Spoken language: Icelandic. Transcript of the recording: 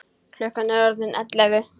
Klukkan er orðin ellefu!